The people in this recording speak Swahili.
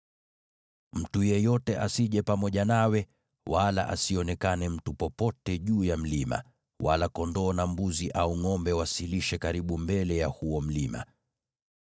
Mtu yeyote asije pamoja nawe, wala asionekane mtu popote juu ya mlima, wala kondoo na mbuzi au ngʼombe wasilishe karibu mbele ya huo mlima.”